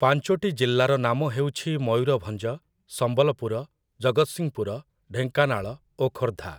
ପାଞ୍ଚୋଟି ଜିଲ୍ଲାର ନାମ ହେଉଛି ମୟୂରଭଞ୍ଜ, ସମ୍ବଲପୁର, ଜଗତସିଂହପୁର, ଢ଼େଙ୍କାନାଳ ଓ ଖୋର୍ଦ୍ଧା ।